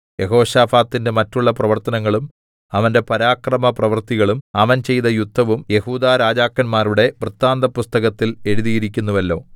യെഹോശാഫാത്തിന്റെ മറ്റുള്ള പ്രവർത്തനങ്ങളും അവന്റെ പരാക്രമപ്രവൃത്തികളും അവൻ ചെയ്ത യുദ്ധവും യെഹൂദാ രാജാക്കന്മാരുടെ വൃത്താന്തപുസ്തകത്തിൽ എഴുതിയിരിക്കുന്നുവല്ലോ